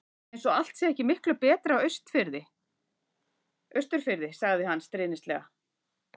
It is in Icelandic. Eins og allt sé ekki miklu betra á Austurfirði. sagði hann stríðnislega.